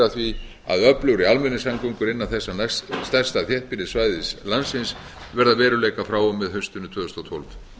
að því að öflugri almenningssamgöngur innan þessa stærsta þéttbýlissvæðis landsins verði að veruleika frá og með haustinu tvö þúsund og tólf